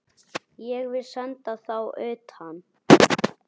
Ég vil senda þá utan!